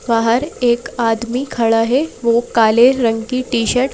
बाहर एक आदमी खड़ा है वो काले रंग की टी-शर्ट --